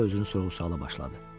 Ürəyində özünü sual-sorğuya başladı.